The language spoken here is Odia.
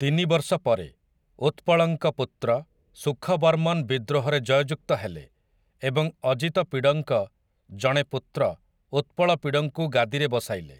ତିନି ବର୍ଷ ପରେ, ଉତ୍ପଳଙ୍କ ପୁତ୍ର, ସୁଖବର୍ମନ ବିଦ୍ରୋହରେ ଜୟଯୁକ୍ତ ହେଲେ, ଏବଂ ଅଜିତ ପିଡ଼ଙ୍କ ଜଣେ ପୁତ୍ର, ଉତ୍ପଳପିଡ଼ଙ୍କୁ ଗାଦିରେ ବସାଇଲେ ।